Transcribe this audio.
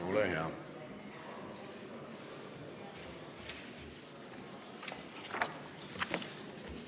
Ole hea!